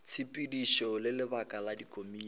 tshepedišo le lebaka la dikomiti